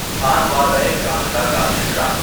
خانوادۂ کاندھلہ کا شجرہ